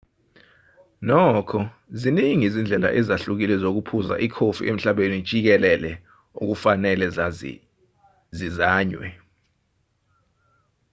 nokho ziningi izindlela ezihlukile zokuphuza ikofi emhlabeni jikelele okufanele zizanywe